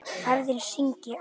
Ferðina skyggi á.